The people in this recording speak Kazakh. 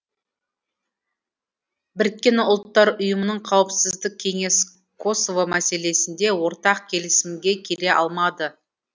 біріккен ұлттар ұйымының қауіпсіздік кеңесі косово мәселесінде ортақ келісімге келе алмады